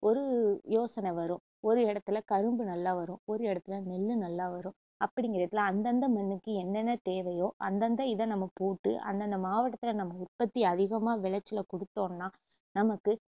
ஒரு யோசனை வரும் ஒரு இடத்துல கரும்பு நல்லா வரும் ஒரு இடத்துல நெல்லு நல்லா வரும் அப்படிங்குறதுல அந்தந்த மண்ணுக்கு என்னென்ன தேவையோ அந்தந்த இதை நம்ம போட்டு அந்தந்த மாவட்டத்துல நம்ம உற்பத்தி அதிகமா விளைச்சலை குடுத்தோன்னா நமக்கு